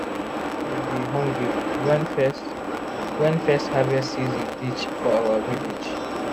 nobody dey hungry when first when first harvest season reach for our village.